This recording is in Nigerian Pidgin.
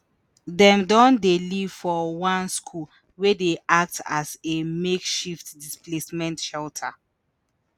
dem don dey live for one school wey dey act as a makeshift displacement shelter.